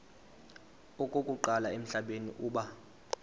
okokuqala emhlabeni uba